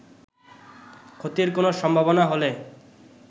ক্ষতির কোন সম্ভাবনা হলে